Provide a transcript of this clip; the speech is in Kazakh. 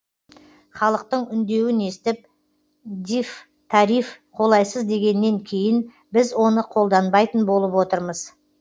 халықтың үндеуін естіп дифтариф қолайсыз дегеннен кейін біз оны қолданбайтын болып отырмыз